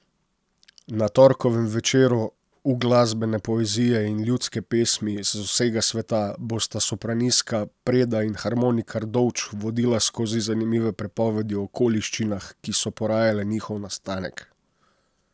Na torkovem večeru uglasbene poezije in ljudske pesmi z vsega sveta bosta sopranistka Preda in harmonikar Dovč vodila skozi zanimive pripovedi o okoliščinah, ki so porajale njihov nastanek.